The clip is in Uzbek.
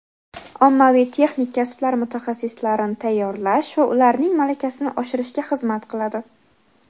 ommaviy texnik kasblar mutaxassislarini tayyorlash va ularning malakasini oshirishga xizmat qiladi.